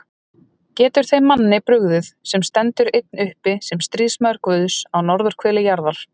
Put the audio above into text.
Getur þeim manni brugðið, sem stendur einn uppi sem stríðsmaður Guðs á norðurhveli jarðar?